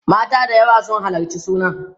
mata da yawa sun halarci sunan